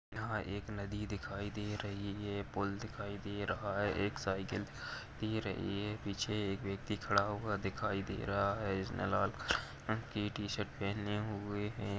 यहाँ एक नदी दिखाई दे रही है पूल दिखाई दे रहा है। एक साईकल दे रही है पीछे एक व्यक्ति खड़ा हुआ दिखाई दे रहा है। इसने लाल कलर की टीशर्ट पहने हुए है।